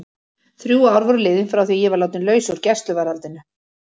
Þrjú ár voru liðin frá því að ég var látin laus úr gæsluvarðhaldinu.